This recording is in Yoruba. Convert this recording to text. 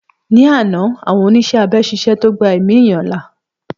Ní àná àwọn oníṣẹ́ abẹ ṣiṣẹ́ tó gbà èmi ẹ̀yán là